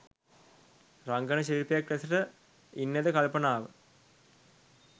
රංගන ශිල්පියෙක් ලෙසට ඉන්නද කල්පනාව.